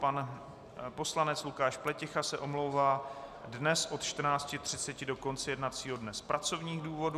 Pan poslanec Lukáš Pleticha se omlouvá dnes od 14.30 do konce jednacího dne z pracovních důvodů.